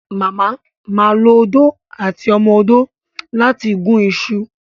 mama má lọ Odó àti ọmọ odó lati gún iṣu